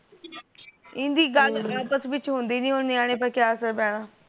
ਇਹਣਦੀ ਗੱਲ ਆਪਸ ਵਿੱਚ ਹੁੰਦੀ ਨਹੀਂ ਨੇਆਣੇ ਪਰ ਕੀਆ ਅਸਰ ਪੈਣ